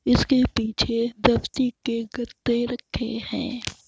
इसके पीछे व्यक्ति के गद्दें रखे हैं।